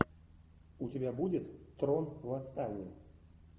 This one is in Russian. у тебя будет трон восстание